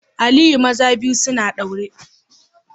Aliyu maza biyu suna daure